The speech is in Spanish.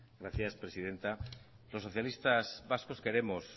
gracias presidenta los socialistas vascos queremos